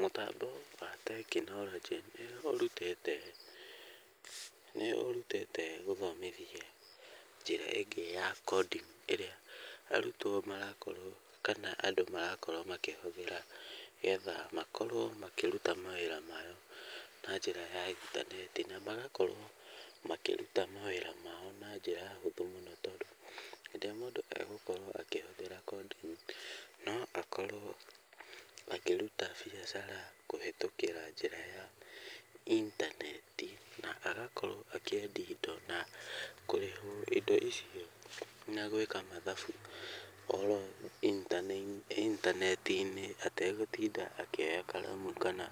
Mũtambo wa tekinoronjĩ nĩ ũrutĩte gũthomithia njĩra ĩngĩ ya coding ĩrĩa arutwo marakorwo kana andũ marakorwo makĩhũthĩra, getha makorwo makĩruta wĩra wao na njĩra ya intaneti. Na magakorwo makĩruta mawĩra mao na njĩra hũthũ mũno tondũ hĩndĩ ĩrĩa mũndũ egũkorwo akĩhũthĩra coding no akorwo akĩruta biacara kũhĩtũkĩra njĩra ya intaneti. Na agakorwo akĩendia indo na kũrĩhwo indo icio na gwĩka mathabu o ro intaneti-inĩ, ategũtinda akĩoya karamu kana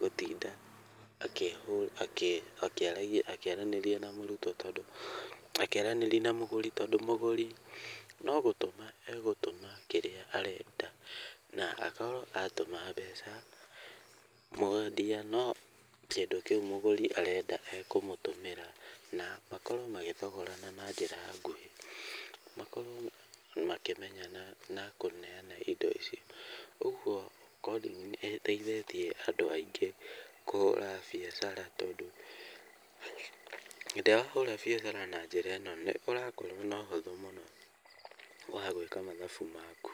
gũtinda akĩaranĩrĩa na mũgũri. Tondũ mũgũri no gũtũma egũtũma kĩrĩa arenda na akorwo atũma mbeca. Mwendia no kĩndũ kĩu mũgũri arenda ekũmũtũmĩra na makorwo magĩthogorana na njĩra nguhĩ, makorwo makĩmenyana na kũneana indo icio. Ũguo coding nĩ ĩteithĩtie andũ aingĩ kũhũra biacara tondũ hĩndĩ ĩrĩa wahũra biacara na njĩra ĩno nĩ ũrakorwo na ũhũthũ mũno wa gwĩka mathabu maku.